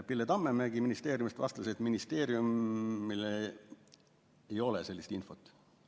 Pille Tammemägi vastas, et ministeeriumil ei ole sellist infot.